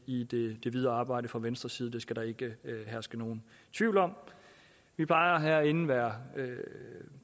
i det videre arbejde fra venstres side det skal der ikke herske nogen tvivl om vi plejer herinde at være